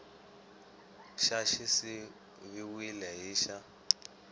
xa xi siviwile hi xa